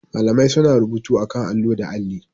Malamai suna rubutu akan allo da alli.